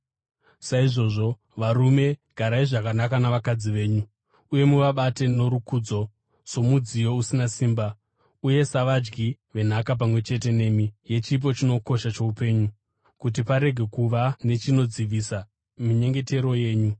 Saizvozvo, varume, garai zvakanaka navakadzi venyu, uye muvabate norukudzo somudziyo usina simba uye savadyi venhaka pamwe chete nemi, yechipo chinokosha choupenyu, kuti parege kuva nechinodzivisa minyengetero yenyu.